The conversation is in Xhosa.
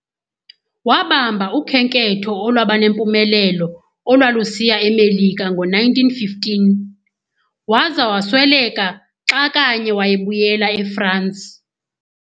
Wabamba ukhenketho olwaba nempumelelo olwalusiya eMelika ngo1915, waza wasweleka xa kanye wayebuyela eFransi.